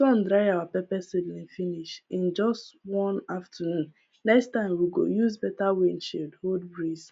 sun dry our pepper seedling finish in just one afternoon next time we go use better wind shield hold breeze